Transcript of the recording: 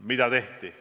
Mida tehti?